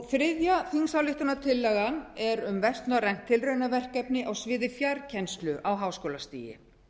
þriðja þingsályktunartillagan er um um vestnorrænt tilraunaverkefni á sviði fjarkennslu á háskólastigi